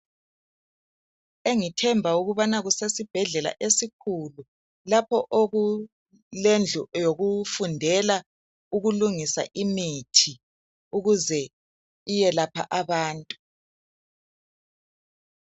Engithemba ukubana kusesibhedlela esikhulu lapho okulendlu yokufundela ukulungisa imithi ukuze iyelapha abantu.